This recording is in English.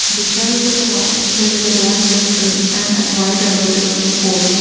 Beside the shop there is a black dustbin and an white advertisement pole.